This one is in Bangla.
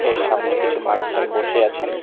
এর সামনে কিছু মানুষজন বসে আছেন।